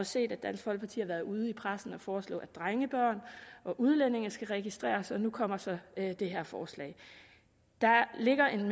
set at dansk folkeparti har været ude i pressen og foreslå at drengebørn og udlændinge skal registreres og nu kommer så det her forslag der ligger en